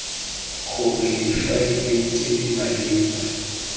gore difaele tse di maleba